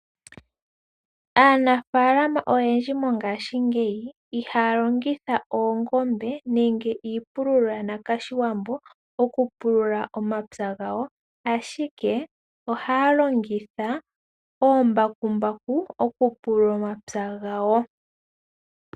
Aanafaalama oyendji mogaashingeyi ihaya longitha oongombe nenge iipululo yoshiwambo oku pulula omapya gawo ashike ohaya longitha omambakumbaku oku pulula omapya gawo.